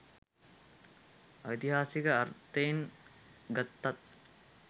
ඓතිහාසික අර්ථයෙන් ගත්තත්